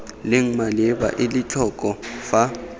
leng maleba ela tlhoko fa